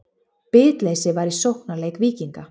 Bitleysi var í sóknarleik Víkinga.